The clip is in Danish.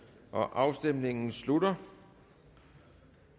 afstemningen slutter